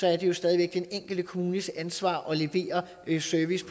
er det jo stadig væk den enkelte kommunes ansvar at levere service